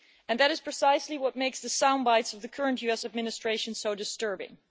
That is precisely what makes the soundbites of the current US administration so disturbing.